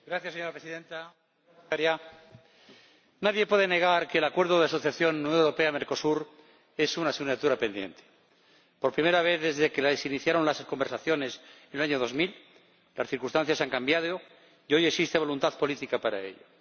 Señora Presidenta, Comisaria, nadie puede negar que el Acuerdo de Asociación Unión Europea Mercosur es una asignatura pendiente. Por primera vez desde que se iniciaron las conversaciones en el año 2000, las circunstancias han cambiado y hoy existe voluntad política para celebrarlo.